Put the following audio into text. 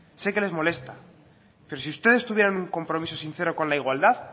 sé que les molesta pero si ustedes tuvieran un compromiso sincero con la igualdad